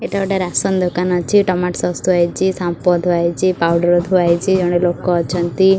ଏଇଟା ଗୋଟେ ରାସନ୍ ଦୋକାନ ଅଛି ଟମାଟୋ ସସ୍ ଥୁଆ ହେଇଚି ସାମ୍ପ ଥୁଆ ହେଇଚି ପାଉଡର୍ ଥୁଆ ହେଇଚି ଜଣେ ଲୋକ ଅଛନ୍ତି।